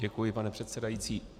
Děkuji, pane předsedající.